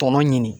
Tɔnɔ ɲini